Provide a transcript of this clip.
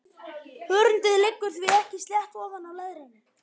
Hörundið liggur því ekki slétt ofan á leðrinu.